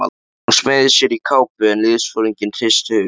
Hún smeygði sér í kápu en liðsforinginn hristi höfuðið.